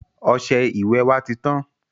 Ọsẹ ìwẹ̀ wá titán.